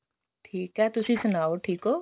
ਠੀਕ ਹੈ ਤੁਸੀਂ ਸੁਣਾਓ ਠੀਕ ਓ